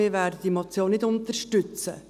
Wir werden diese Motion nicht unterstützen.